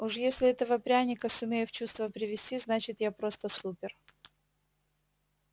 уж если этого пряника сумею в чувство привести значит я просто супер